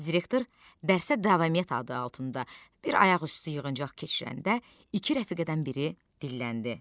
Direktor dərsə davamiyyət adı altında bir ayaqüstü yığıncaq keçirəndə iki rəfiqədən biri dilləndi.